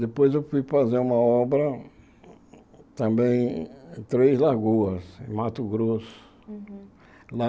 Depois eu fui fazer uma obra também em Três Lagoas, em Mato Grosso.